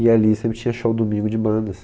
E ali sempre tinha show domingo de bandas.